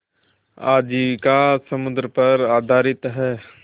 आजीविका समुद्र पर आधारित है